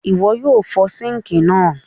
Ìwo yio fo sink náà